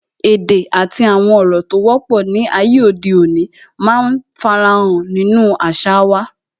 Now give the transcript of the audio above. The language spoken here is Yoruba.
Èdè àti àwọn ọ̀rọ̀ tó wọ́pọ̀ ni ayé òde òní máa ń fara hàn nínú àṣà wa